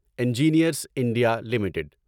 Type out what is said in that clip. engineers India limited